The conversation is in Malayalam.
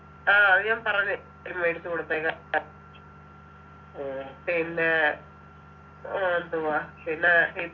ആ അത് ഞാൻ പറഞ്ഞു ഉം എടുത്തു കൊടുത്തേക്കാ പിന്നെ ആഹ് എന്തുവാ പിന്നെ